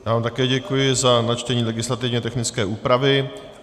Já vám také děkuji za načtení legislativně technické úpravy.